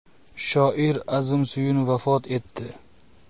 Shoir Azim Suyun vafot etdi.